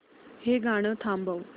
हे गाणं थांबव